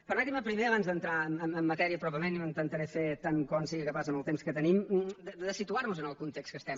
permetin me primer abans d’entrar en matèria pròpiament i ho intentaré fer tant com sigui capaç en el temps que tenim de situar nos en el context que estem